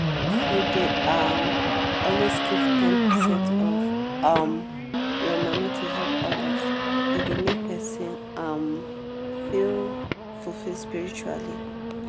if you dey um always give ten percent of um your money to help others e dey make person um feel fulfilled spiritually.